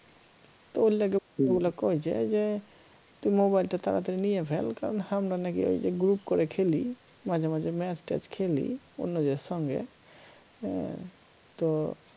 তো ওর লাইগে ওগুলা কই যে তুই mobile টা তাড়াতাড়ি নিয়ে ফেল তখন হামরা নাকি ঐযে group করে খেলি মাঝেমাঝে match ট্যাচ খেলি অন্যদের সঙ্গে আহ তো